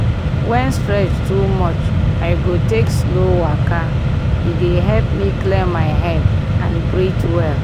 when stress too much i go take slow waka e dey help me clear my head and breathe well.